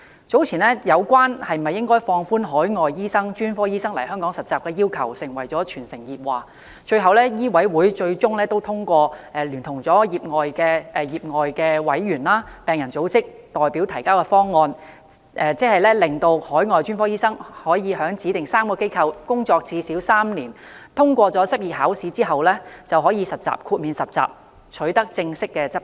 早前有關應否放寬海外專科醫生來港實習的要求成為全城熱話，最終香港醫務委員會通過聯同業外委員及病人組織代表提交的方案，即海外專科醫生可在指定3間機構工作最少3年，在通過執業考試後便可以豁免實習，取得正式執照。